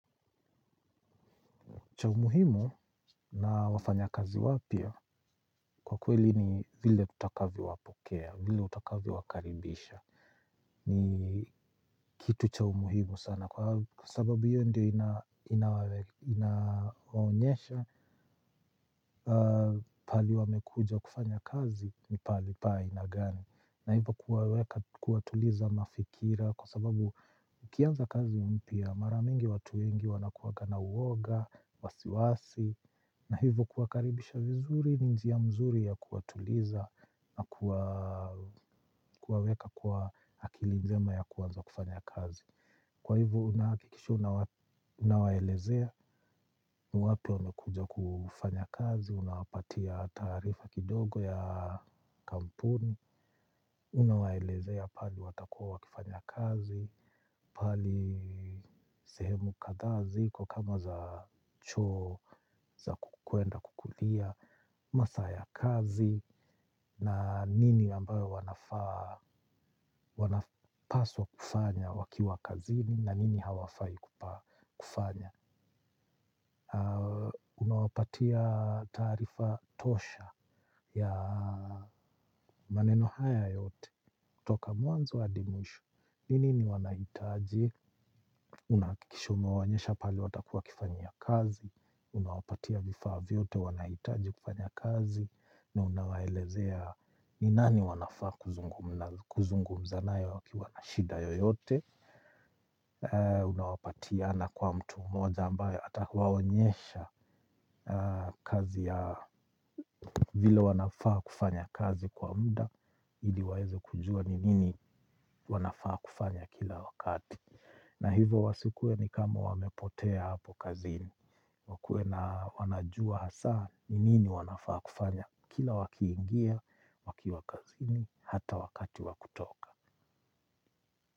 Chaumuhimu na wafanya kazi wapya kwa kweli ni vile utakavyo wapokea, vile utakavyo wakaribisha ni kitu chaumuhimu sana kwa sababu hiyo ndiyo inaonyesha pahali wamekuja kufanya kazi ni pahali pa ainagani. Na hivyo kuwaweka kuwatuliza mafikira kwa sababu ukianza kazi mpya maramingi watuwengi wanakuwa ngana uoga, wasiwasi. Na hivyo kuwakaribisha vizuri ninjia mzuri ya kuwatuliza na kuwaweka kwa akilinjema ya kuanza kufanya kazi. Kwa hivyo unahakikisha unawaelezea niwapia wamekuja kufanya kazi, unawapatia taarifa kidogo ya kampuni. Unawaelezea pahali watakua wakifanya kazi, pahali sehemu kadhaazi ko kama za choo za kukwenda kukulia. Masaa ya kazi na nini ambayo wanafaa, wanapaswa kufanya wakiwa kazini na nini hawafai kufanya. Unawapatia taarifa tosha ya maneno haya yote kutoka mwanzo hadimwisho nini ni wanahitaji, unahakikisha umewaonyesha pahali watakuawa kifanyia kazi, unawapatia vifaa vyote wanahitaji kufanya kazi, na unawaelezea ni nani wanafaa kuzungu mzanaye waki wanashida yoyote, unawapatia na kwa mtu mmoja ambaye atawa onyesha kazi ya vile wanafaa kufanya kazi kwa muda, ili waweze kujua ni nini wanafaa kufanya kila wakati. Na hivyo wasikue ni kama wamepotea hapo kazini. Wakue na wanajua hasa ni nini wanafaa kufanya. Kila wakiingia, wakiwa kazini, hata wakati wakutoka.